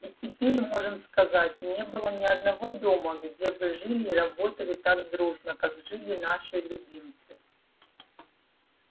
и теперь можем сказать не было ни одного дома где бы жили и работали так дружно как жили наши любимцы